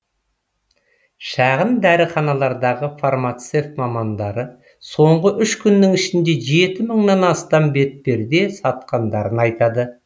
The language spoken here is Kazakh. шағын дәріханалардағы фармацевт мамандары соңғы үш күннің ішінде жеті мыңнан астам бетперде сатқандарын айтады